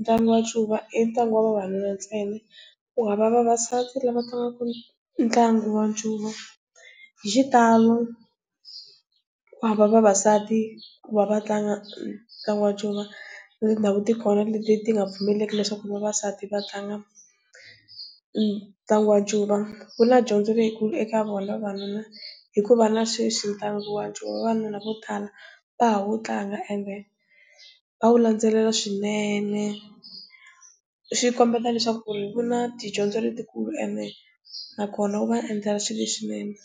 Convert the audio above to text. ntlangu wa ncuva i ntlangu wa vavanuna ntsena, kuhava vavasati lava tlangaku ntlangu wa ncuva. Hi xitalo kuhava vavasati ku va va tlanga ntlangu wa ncuva, na tindhawu tikona leti ti nga pfumeliki leswaku vavasati va tlanga ntlangu wa ncuva. Ku na dyondzo leyikulu eka vona vavanuna hikuva na sweswi ntlangu wa ncuva vavanuna vo tala va ha wu tlanga and va wu landzelela swinene swi kombeta leswaku ku na tidyondzo letikulu naswona wu va endlela leswinene.